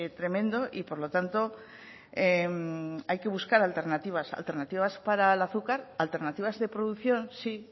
tremendo y por lo tanto hay que buscar alternativas alternativas para el azúcar alternativa de producción sí